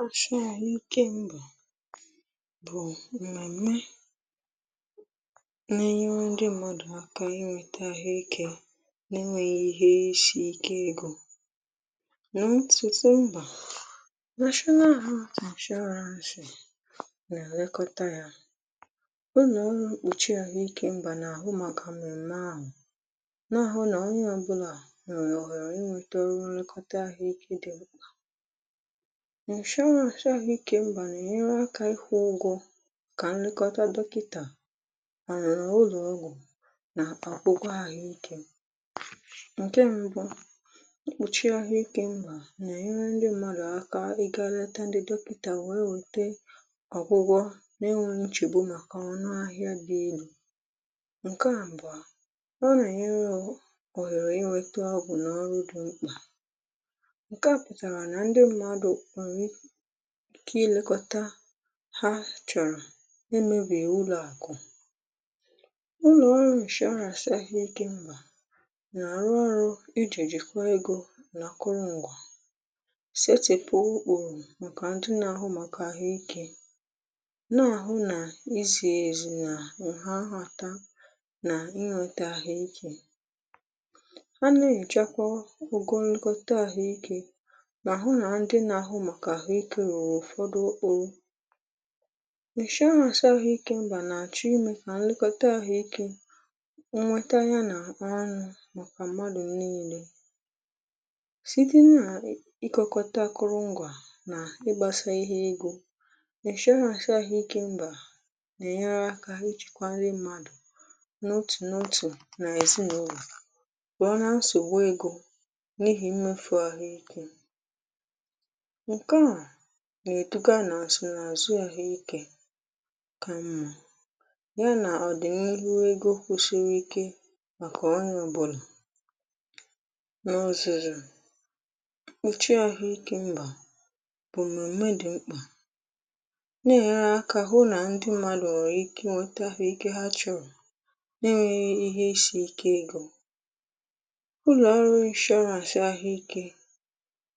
insurance àhụ̀ ike mbà bụ̀ mmemme n’ enyere ndị mmadụ̀ aka inweta àhụ́ ikè n’enwēghị ihe ísì íke egò, nà ntùtù mbà nà ụlọ̀ ọrụ nà-àlekọta ya, ụlọ̀ ọrụ mgbochi àhụ́ ikè mbà nà àhụ́ màkà mmemme àhụ̀, n’àhụ́ nà onye ọbụ̀na nwèré òhèrè inweta ọrụ nlekọta àhụ̀ ikè dị mkpà. insurance àhụ̀ ike mbà na-enyere aka ịkwụ ụgwọ kà nlekọta dọkịtà mà ụlọ ọgwụ nà ogwúgwò àhụ́ ikè. Nke mbụ̀, ịkpụchị àhụ̀ ikè mbà na-enyere ndị mmadụ̀ aka ịga leta ndị dọkịtà wee wete ọgwụgwọ na-enwēghị nchegbu màkà ọ̀nụ ahịa dị èlú̇; nke àbụ̀à, ọ na-enyere ọ hèrè inweta ọgwụ nà ọrụ dị mkpà. Nke a pụtara na ndị mmadụ̀ inwèré ikè ịlekọta àhụ́ ha chọ̀rọ̀ na-emebighị ụlọ̀ àkụ̀. Ụlọ̀ ọrụ insurance àhụ́ ikè mbà nà-àrụ ọ́rụ́ ijìjì kwa egò n’àkụrụ ǹgwà, setèpụ̀ ukpùrù màkà ndị nà-àhụ màkà àhụ̀ ikè, nà-àhụ nà ízi èzí nà ǹha àhụ̀tà nà íhàtà àhụ́ ikè. um Ha nà-ènyochakwa ụgwọ nlekọta àhụ́ ikè, ma hụ na ndị ahụ́ màkà àhụ̀ ikè ruru ọfùdu ọ́rụ́. insurance àhụ̀ ikè mbà nà-àchụ ìmè kà nlekọta àhụ̀ ikè nwè nwètà ya nà ọnụ̇ màkà mmadụ̀ niilē. Site nà ịkụkọ́tà àkụrụngwà nà ịgbàsa ihe egò, insurance àhụ̀ ikè mbà nà-ènye erè àkà ijikwa nrị mmadụ̀ n’òtù n’òtù nà èzinụlọ̀, pụọ̀ n’asògbu egò n’ihì mmefu àhụ́ ikè. Nke a na-eduga àsị na àzụ àhụ́ ikè kà mmà, ya nà ọ̀ dì n’ írú egò kwụsịrị ikè màkà onye ọbụ̀na. N’ọ́zùzò, mkpuchi àhụ̀ ikè mbà bụ̀ mmemme dị mkpà nà-ènye èrè àkà hụ na ndị mmadụ̀ nwèré ikè inweta àhụ́ ikè ha chọrọ̀ nà enweghị ihe ísì íke egò. Ụlọ̀ ọrụ insurance àhụ́ ikè